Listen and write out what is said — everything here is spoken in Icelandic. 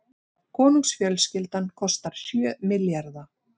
Konungsfjölskyldan kostar sjö milljarða